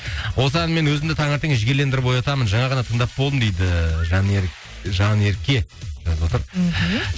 осы әнмен өзімді таңертең жігерлендіріп оятамын жаңа ғана тыңдап болдым дейді жанерке жазып отыр мхм